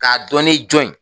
K'a dɔni jɔn ye